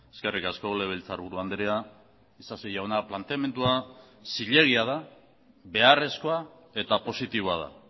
eskerrik asko legebiltzarburu andrea isasi jauna planteamendua zilegia da beharrezkoa eta positiboa da